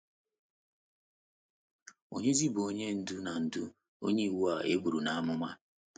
Ònyezi bụ Onye Ndú na Ndú na Onye Iwu a e buru n’amụma?